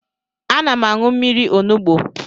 Ana m aṅụ mmiri onugbo.